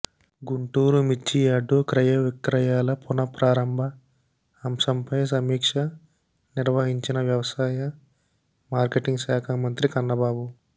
గుంటూరు మిర్చి యార్డు క్రయ విక్రయాల పునః ప్రారంభ అంశంపై సమీక్ష నిర్వహించిన వ్యవసాయ మార్కెటింగ్ శాఖ మంత్రి కన్నబాబు